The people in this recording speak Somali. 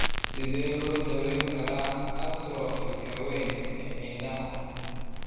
Sidee lagu daweyn karaa atrophy-ka-weyn ee indhaha?